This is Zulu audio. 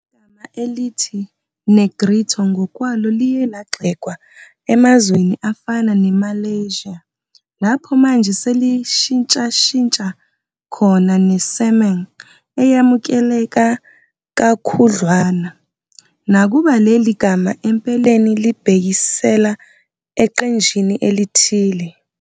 Igama elithi Negrito ngokwalo liye lagxekwa emazweni afana ne-Malaysia, lapho manje selishintshashintsha khona ne-Semang eyamukeleka kakhudlwana, nakuba leli gama empeleni libhekisela eqenjini elithile.